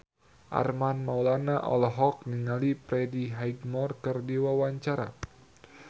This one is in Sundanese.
Armand Maulana olohok ningali Freddie Highmore keur diwawancara